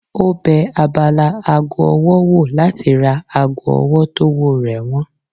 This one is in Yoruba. Ó bẹ abala ago ọwọ́ wò láti ra ago ọwọ́ tówó rẹ̀ wọ́n